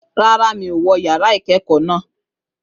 Rárá, mi ò wọ yàrá ìkẹ́kọ̀ọ́ naa.